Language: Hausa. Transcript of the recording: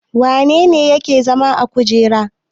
Wane ne yake zama a kujera?